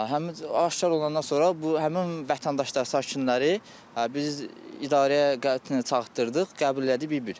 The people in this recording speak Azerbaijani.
Həmin aşkar olandan sonra bu həmin vətəndaşları, sakinləri biz idarəyə çağıtdırdıq, qəbul elədik bir-bir.